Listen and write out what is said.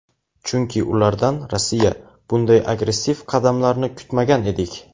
chunki ulardan (Rossiya) bunday agressiv qadamlarni kutmagan edik.